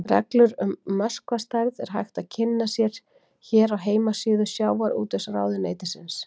Reglur um möskvastærð er hægt að kynna sér hér á heimasíðu Sjávarútvegsráðuneytisins.